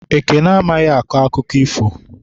Ekene amaghị akọ akụkọ ifo.